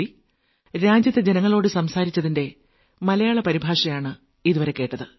സുഹൃത്തുക്കളേ അടുത്ത മാസം വീണ്ടും മൻ കീ ബാത് ഉണ്ടാകും വളരെ വളരെ നന്ദി